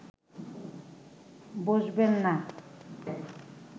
বসবেন না